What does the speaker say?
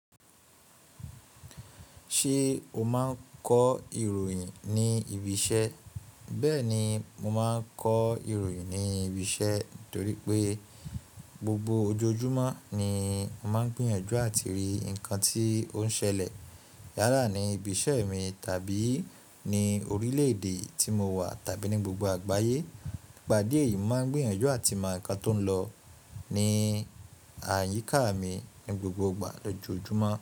Ṣé o máa ń kọ ìròyìn ní ibi iṣẹ́? Bẹ́ẹ̀ ni, mo máa ń kọ ìròyìn ní ibi iṣẹ́ torí pé gbogbo ojoojúmọ́ ni mo máa ń gbìyànjú àti rí nǹkan tí ó ń ṣẹlẹ̀ yálà ní ibi iṣẹ́ mi tàbí ní orílẹ̀-èdè tí mo wà tàbí ní gbogbo àgbáyé. Ìpàdé yìí máa ń gbìyànjú àti mọ ǹkan tó ń lọ ní àyíká mi ní gbogbo ìgbà lójoojúmọ́